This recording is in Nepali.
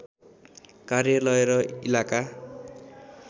कार्यालय र इलाका